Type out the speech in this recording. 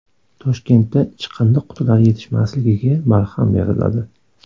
Toshkentda chiqindi qutilari yetishmasligiga barham beriladi.